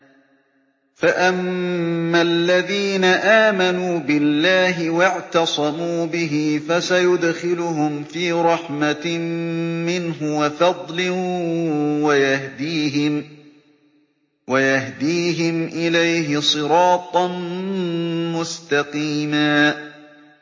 فَأَمَّا الَّذِينَ آمَنُوا بِاللَّهِ وَاعْتَصَمُوا بِهِ فَسَيُدْخِلُهُمْ فِي رَحْمَةٍ مِّنْهُ وَفَضْلٍ وَيَهْدِيهِمْ إِلَيْهِ صِرَاطًا مُّسْتَقِيمًا